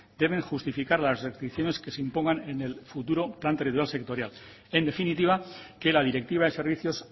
deben justificar las restricciones que se impongan en el futuro plan territorial sectorial en definitiva que la directiva de servicios